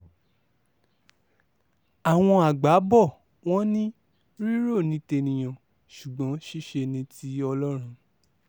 àwọn àgbà bò wọ́n ní rírọ́ ní tènìyàn ṣùgbọ́n ṣíṣe ṣíṣe ní ti ọlọ́run